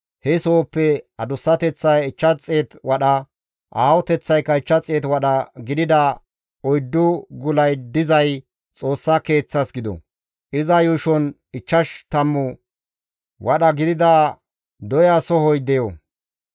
He sohoppe adussateththay 500 wadha, aahoteththaykka 500 wadha gidida oyddu gulay dizay Xoossa Keeththas gido; iza yuushon ichchash tammu wadha gidida doya sohoy deyo.